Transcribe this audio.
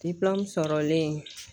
sɔrɔlen